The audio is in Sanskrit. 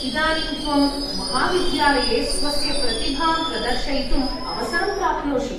इदानीं त्वं महाविद्यालये स्वस्य प्रतिभां प्रदर्शयितुम्‌ अवसरं प्राप्नोषि।